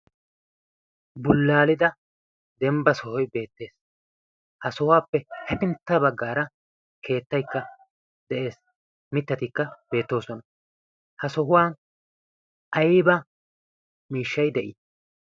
bullaalida dembba sohoi beettees ha sohuwaappe hefintta baggaara keettaikka de'ees. mittatikka beettoosona. ha sohuwan aiba miishshai de'ii?